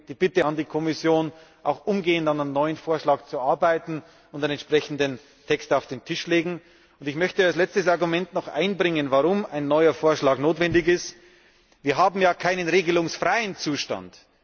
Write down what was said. Deswegen die Bitte an die Kommission, auch umgehend an einem neuen Vorschlag zu arbeiten und einen entsprechenden Text auf den Tisch zu legen. Als letztes Argument möchte ich noch einbringen, warum ein neuer Vorschlag notwendig ist Wir haben ja keinen regelungsfreien Zustand.